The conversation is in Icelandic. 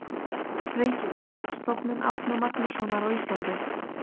Reykjavík: Stofnun Árna Magnússonar á Íslandi.